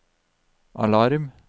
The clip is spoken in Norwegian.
alarm